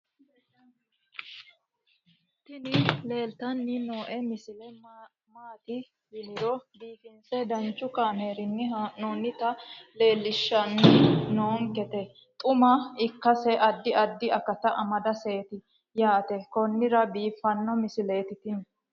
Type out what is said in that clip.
tini leeltanni noo misile maaati yiniro biifinse danchu kaamerinni haa'noonnita leellishshanni nonketi xuma ikkase addi addi akata amadaseeti yaate konnira biiffanno misileeti tini